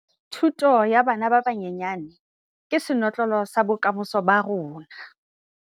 Thuto ya bana ba banyenyane ke senotlolo sa bokamoso ba rona.